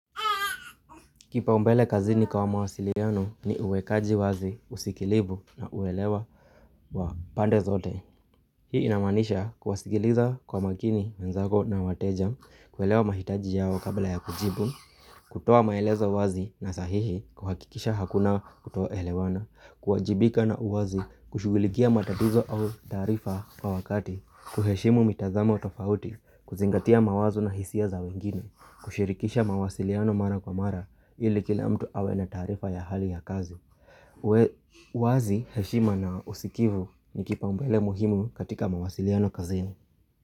Kipaombele kazini kwa mawasiliano ni uwekaji wazi, usikilivu na uelewa wa pande zote. Hii inamaanisha kuwasikiliza kwa makini, wenzako na wateja, kuelewa mahitaji yao kabla ya kujibu, kutoa maelezo wazi na sahihi kuhakikisha hakuna kutoelewana, kuwajibika na uwazi, kushugulikia matatizo au taarifa kwa wakati, kuheshimu mitazamo tofauti, kuzingatia mawazo na hisia za wengine, kushirikisha mawasiliano mara kwa mara ili kila mtu awe na taarifa ya hali ya kazi uwe wazi heshima na usikivu ni kipaombele muhimu katika mawasiliano kazini.